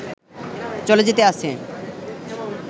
চলে যেতে আছে